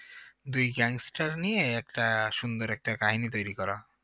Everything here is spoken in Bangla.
দুই gangster নিয়ে একটা সুন্দর একটা কাহিনী তৈরি করা